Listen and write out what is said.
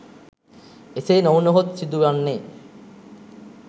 එසේ නොවුණහොත් සිදු වන්නේ